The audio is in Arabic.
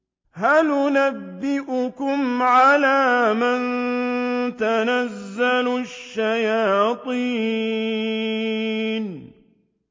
هَلْ أُنَبِّئُكُمْ عَلَىٰ مَن تَنَزَّلُ الشَّيَاطِينُ